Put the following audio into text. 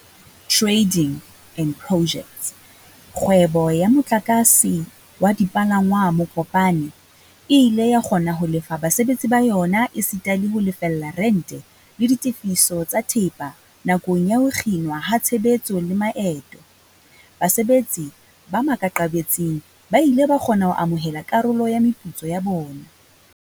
Tra-ding and Pojects, kgwebo ya motlakase wa dipalangwang Mokopane, e ile ya kgona ho lefa basebetsi ba yona esita le ho lefella rente, le ditefiso tsa thepa nakong ya ho kginwa ha tshebetso le maeto. Basebetsi ba maqakabetsing ba ile ba kgona ho amohela karolo ya meputso ya bona.